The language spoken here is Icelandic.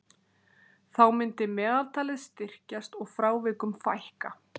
Þá myndi meðaltalið styrkjast og frávikum fækka.